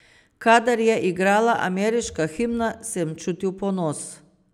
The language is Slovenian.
Kadar je igrala ameriška himna, sem čutil ponos.